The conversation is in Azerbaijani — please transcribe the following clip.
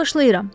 Bağışlayıram.